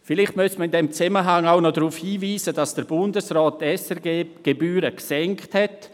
Vielleicht müsste man in diesem Zusammenhang auch darauf hinweisen, dass der Bundesrat die SRG-Gebühren gesenkt hat.